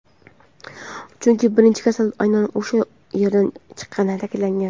chunki birinchi kasal aynan o‘sha yerdan chiqqanini ta’kidlagan.